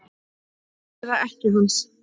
Eða ekkja hans?